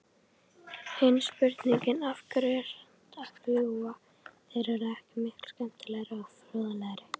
Hin spurningin, af hverju fljúga þeir ekki, er miklu skemmtilegri og fróðlegri!